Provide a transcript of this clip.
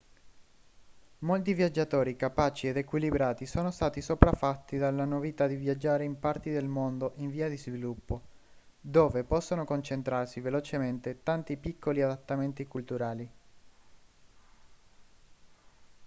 molti viaggiatori capaci ed equilibrati sono stati sopraffatti dalla novità di viaggiare in parti del mondo in via di sviluppo dove possono concentrarsi velocemente tanti piccoli adattamenti culturali